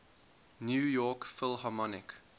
new york philharmonic